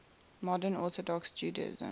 modern orthodox judaism